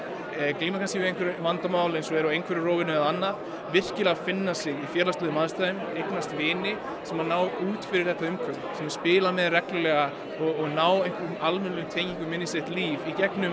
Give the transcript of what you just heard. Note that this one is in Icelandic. glíma kannski við einhver vandamál á einhverfurófinu eða annað virkilega finna sig í félagslegum aðstæðum og eignast vini sem ná út fyrir þetta umhverfi sem spila með reglulega og ná einhverjum almennilegum tengingum inn í sitt líf í gegnum